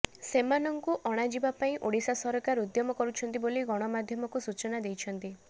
ସେମାନଙ୍କୁ ଅଣାଯିବା ପାଇଁ ଓଡ଼ିଶା ସରକାର ଉଦ୍ୟମ କରୁଛନ୍ତି ବୋଲି ଗଣମାଧ୍ୟମକୁ ସୂଚନା ଦେଇଛନ୍ତି